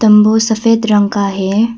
तम्बू सफेद रंग का है।